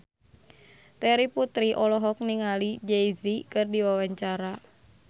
Terry Putri olohok ningali Jay Z keur diwawancara